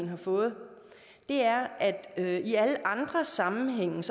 har fået er at at i alle andre sammenhænge